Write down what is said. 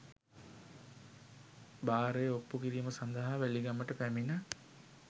භාරය ඔප්පු කිරීම සඳහා වැලිගමට පැමිණ